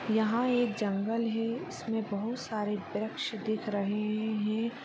यहाँ एक जंगल हे जिसमे बहुत सारा वृक्ष दिख रहे हैं।